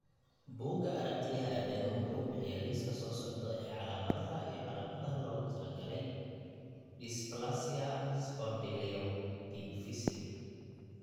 Buugga Aragtiyaha Aadanahawuxuu bixiyaa liiska soo socda ee calaamadaha iyo calaamadaha loogu talagalay dysplasia Spondyloepiphyseal.